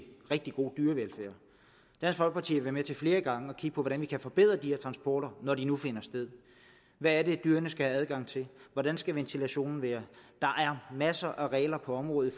rigtig god dyrevelfærd dansk folkeparti har været med til flere gange at kigge på hvordan vi kan forbedre de her transporter når de nu finder sted hvad er det dyrene skal have adgang til hvordan skal ventilationen være der er masser af regler på området i